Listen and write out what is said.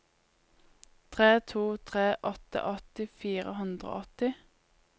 tre to tre åtte åtti fire hundre og åtti